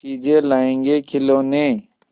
चीजें लाएँगेखिलौने